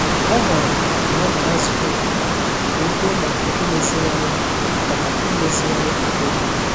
Ọ hụrụ na ọ gara nzụkọ obodo ka ọ kwùo maka imeziwanye maka imeziwanye ahụike.